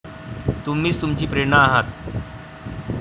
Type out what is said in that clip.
तुम्हीच तुमची प्रेरणा आहात.